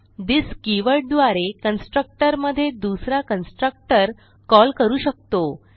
this keyword द्वारे constructor मधे दुसरा कन्स्ट्रक्टर कॉल करू शकतो